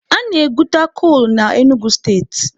A na-egwuta kolu na Enugu steeti